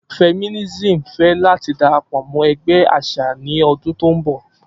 Feminism fẹ lati darapọ mọ ẹgbẹ aṣa ni ọdun to nbọ.